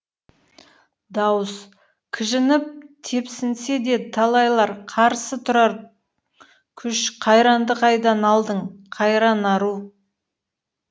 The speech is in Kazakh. дауыс кіжініп тепсінсе де талайлар қарсы тұрар күш қайранды қайдан алдың қайран ару